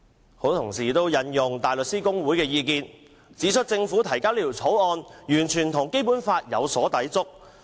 許多同事也引用香港大律師公會的意見，指出政府提交《條例草案》完全與《基本法》有所抵觸。